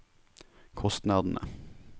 kostnadene